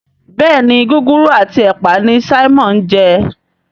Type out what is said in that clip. Béèni Gúgúrú ati ẹpa ní Simon ń je.